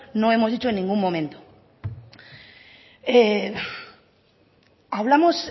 no hemos dicho en ningún momento hablamos